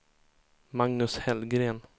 Magnus Hellgren